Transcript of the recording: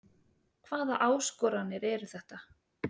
Hvaða áskoranir eru þetta?